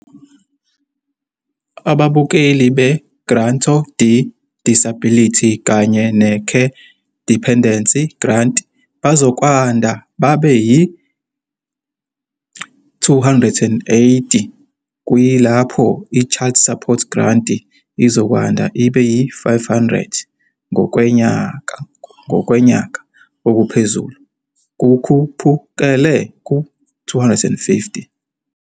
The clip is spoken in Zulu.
Abamukeli be-Granto de Disability kanye ne-Care Dependency Grant bazokwanda babe yi-R2080, kuyilapho i-Child Support Grant izokwanda ibe yi-R500, ngokwenyanga, ngokwenyaka okuphezulu kukhuphukele ku-R250.